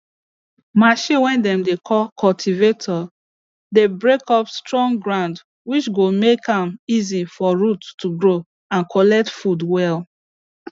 machine way dem dey call cultivator dey break up strong ground which go make am easy for root to grow and collect food well